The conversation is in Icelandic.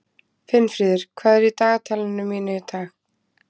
Finnfríður, hvað er í dagatalinu mínu í dag?